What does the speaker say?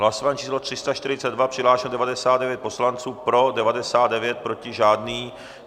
Hlasování číslo 342, přihlášeno 99 poslanců, pro 99, proti žádný.